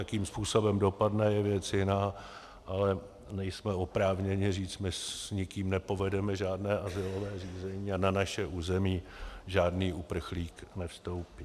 Jakým způsobem dopadne, je věc jiná, ale nejsme oprávněni říci: my s nikým nepovedeme žádné azylové řízení a na naše území žádný uprchlík nevstoupí.